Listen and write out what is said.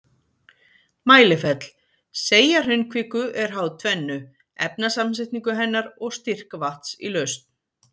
Mælifell Seigja hraunkviku er háð tvennu, efnasamsetningu hennar og styrk vatns í lausn.